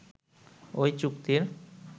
ওই চুক্তির